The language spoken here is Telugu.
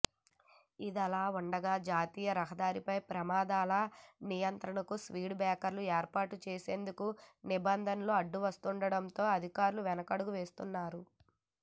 ఇదిలావుండగా జాతీయ రహదారిపై ప్రమాదాల నియంత్రణకు స్పీడు బ్రేకర్లను ఏర్పాటు చేసేందుకు నిబంధనలు అడ్డువస్తుండటంతో అధికారులు వెనకడుగు వేస్తున్నారు